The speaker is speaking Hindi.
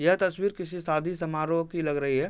यह तस्वीर किसी शादी समारोह की लग रही है।